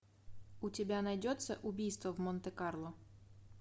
у тебя найдется убийство в монте карло